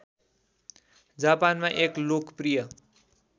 जापानमा एक लोकप्रिय